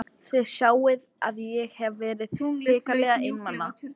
Þið sjáið að ég hef verið hrikalega einmana!